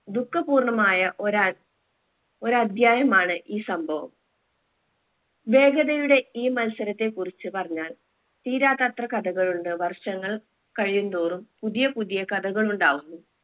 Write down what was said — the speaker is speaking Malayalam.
ദുഃഖ പൂർണമായ ഒരാ ഒരധ്യായമാണ് ഈ സംഭവം വേഗതയുടെ ഈ മത്സരത്തെ കുറിച്ചു പറഞ്ഞാൽ തീരാത്തത്ര കഥകൾ ഉണ്ട് വർഷങ്ങൾ കഴിയും തോറും പുതിയ പുതിയ കഥകൾ ഉണ്ടാവുന്നു